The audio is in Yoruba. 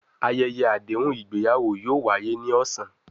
Ayẹyẹ adehun igbeyawo yoo waye ni ọsan